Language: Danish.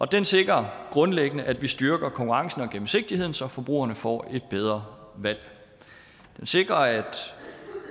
den sikrer grundlæggende at vi styrker konkurrencen og gennemsigtigheden så forbrugerne får et bedre valg den sikrer at